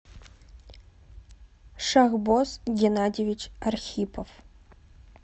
шахбоз геннадьевич архипов